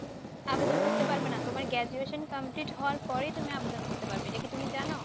আবেদন করতে পারবে না। তোমায় graduation complete হওয়ার পরে তুমি আবেদন করতে পারবে। এটা কি তুমি জানো?